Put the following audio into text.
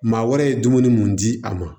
Maa wɛrɛ ye dumuni mun di a ma